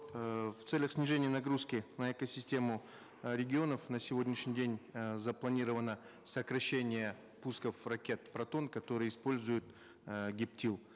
эээ в целях снижения нагрузки на экосистему э регионов на сегодняшний день э запланировано сокращение пусков ракет протон которые используют э гептил